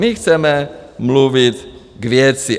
My chceme mluvit k věci.